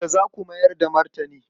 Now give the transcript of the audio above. Yaushe za ku mayar da martani?